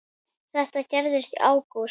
Þetta gerðist í ágúst.